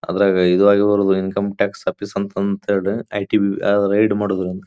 ಅದ್ರಗೆ ಇದು ಆಗಿ ಬರೋ ಅಂತ ಇನ್ಕಮ್ ಟ್ಯಾಕ್ಸ್ ಆಫೀಸ್ ಅಂತ ಹೇಳಿದ್ರೆ ಐಟಿ ರೈಡ್ ಮಾಡೋದು.